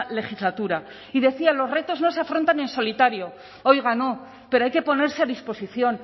legislatura y decía los retos no se afrontan en solitario oiga no pero hay que ponerse a disposición